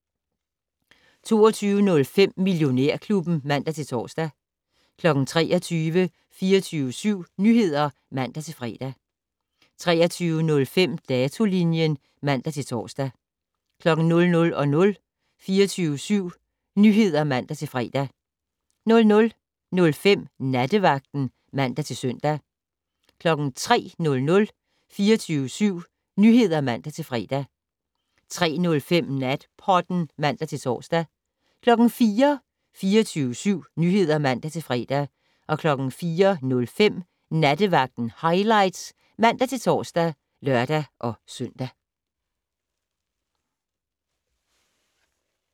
22:05: Millionærklubben (man-tor) 23:00: 24syv Nyheder (man-fre) 23:05: Datolinjen (man-tor) 00:00: 24syv Nyheder (man-fre) 00:05: Nattevagten (man-søn) 03:00: 24syv Nyheder (man-fre) 03:05: Natpodden (man-tor) 04:00: 24syv Nyheder (man-fre) 04:05: Nattevagten Highlights (man-tor og lør-søn)